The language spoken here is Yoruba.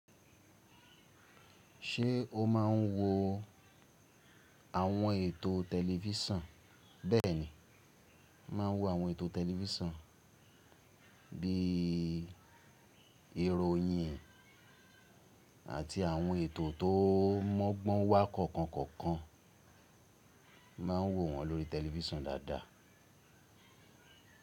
Ṣe o ma ń wo àwọn ètò tẹlifisan. Bẹ́ẹ̀ni, máa ń wo àwọn ètò tẹlifisan bí i ìròyìn àti àwọn ètò tó mọ́gbọ́n wá kọ̀ọ̀kan kọ̀ọ̀kan. Mà ń wo wọn lórí tẹlifisan dáadáa.